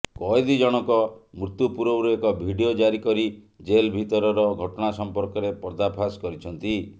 କଏଦୀ ଜଣକ ମୃତ୍ୟୁ ପୂର୍ବରୁ ଏକ ଭିଡ଼ିଓ ଜାରି କରି ଜେଲ୍ ଭିତରର ଘଟଣା ସମ୍ପର୍କରେ ପର୍ଦ୍ଦାଫାସ୍ କରିଛନ୍ତି